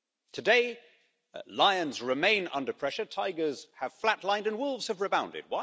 Today lions remain under pressure, tigers have flat lined and wolves have rebounded.